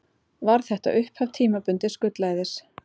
Varð þetta upphaf tímabundins gullæðis.